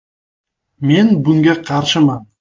“Men bunga qarshiman.